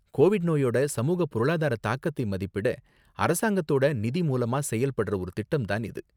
Covid நோயோட சமூக பொருளாதார தாக்கத்தை மதிப்பிட அரசாங்கத்தோட நிதி மூலமா செயல்படுற ஒரு திட்டம் தான் இது.